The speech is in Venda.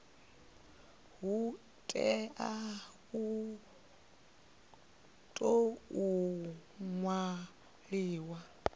hu tea u tou ṅwaliwa